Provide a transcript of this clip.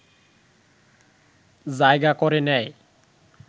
জায়গা করে নেয়